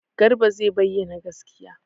Garba zai bayyana gaskiya.